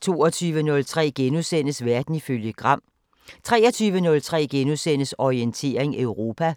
22:03: Verden ifølge Gram * 23:03: Orientering Europa